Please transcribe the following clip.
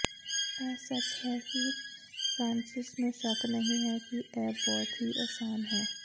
ਇਹ ਸੱਚ ਹੈ ਕਿ ਫ੍ਰਾਂਸਿਸ ਨੂੰ ਸ਼ੱਕ ਨਹੀਂ ਹੈ ਕਿ ਇਹ ਬਹੁਤ ਹੀ ਅਸਾਨ ਹੈ